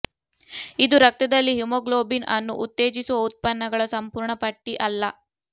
ಇದು ರಕ್ತದಲ್ಲಿ ಹಿಮೋಗ್ಲೋಬಿನ್ ಅನ್ನು ಉತ್ತೇಜಿಸುವ ಉತ್ಪನ್ನಗಳ ಸಂಪೂರ್ಣ ಪಟ್ಟಿ ಅಲ್ಲ